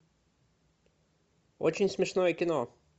очень смешное кино